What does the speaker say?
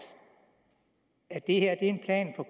at det her er en plan for